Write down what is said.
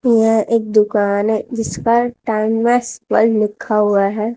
यह एक दुकान है जिस पर टीमैक्स वर्ल्ड लिखा हुआ है।